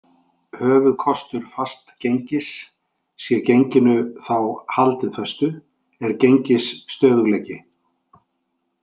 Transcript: Höfuðkostur fastgengis- sé genginu þá haldið föstu- er gengisstöðugleiki.